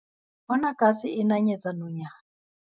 Bona katse e nanyetsa nonyana.